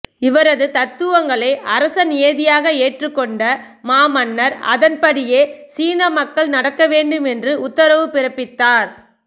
இவரது தத்துவங்களை அரச நியதியாக ஏற்றுக் கொண்ட மாமன்னர் அதன்படியே சீனமக்கள் நடக்க வேண்டும் என்று உத்தரவு பிறப்பித்தார்